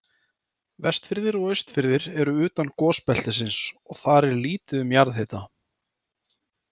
Vestfirðir og Austfirðir eru utan gosbeltisins og þar er lítið um jarðhita.